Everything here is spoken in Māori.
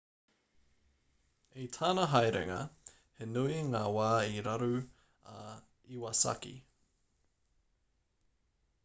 i tana haerenga he nui ngā wā i raru a iwasaki